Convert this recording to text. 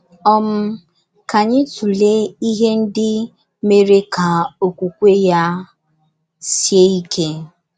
um Ka anyị tụlee ihe ndị mere ka okwukwe ya sie ike.